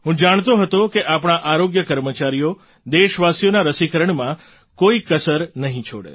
હું જાણતો હતો કે આપણા આરોગ્ય કર્મચારીઓ દેશવાસીઓના રસીકરણમાં કોઈ કસર નહીં છોડે